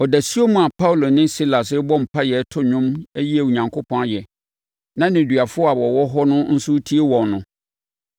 Ɔdasuom a Paulo ne Silas rebɔ mpaeɛ reto nnwom ayi Onyankopɔn ayɛ, na nneduafoɔ a wɔwɔ hɔ no nso retie wɔn no,